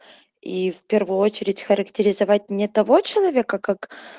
и в первую очередь характеризовать мне того человека как